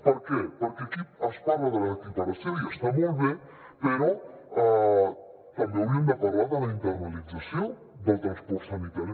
per què perquè aquí es parla de l’equiparació i està molt bé però també hauríem de parlar de la internalització del transport sanitari